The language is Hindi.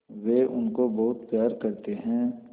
वे उनको बहुत प्यार करते हैं